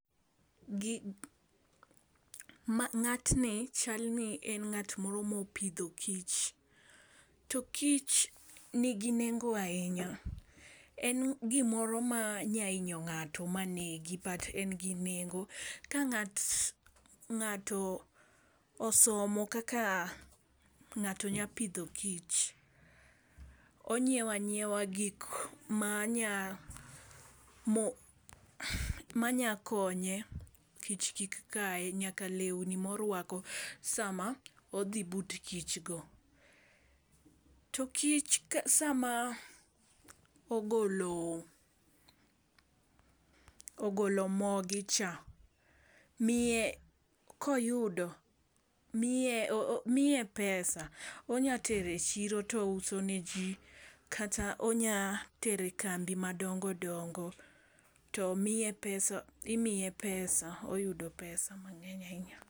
Gi ma ng'atni chal ni en ng'at moro mopidho kich. To kich nigi nengo ahinya en gimoro ma nya inyo ng'ato manego but en gi nengo. Ka ng'ato ng'ato somo kaka ng'ato nya pidho kich onyiewa nyiewa gik ma nya mo manya konye kich kik kaye nyaka lewni morwako sama odhi but kich go. To kich sama ogolo ogolo mogi cha miye koyudo miye oo miye pesa. Onya tere chiro touso ne jii kata onya tere kambi madongodongo to miye pesa imiye pesa oyudo pesa mang'eny ahinya.